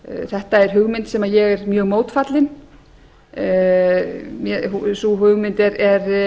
þetta er hugmynd sem ég er mjög mótfallin sú hugmynd er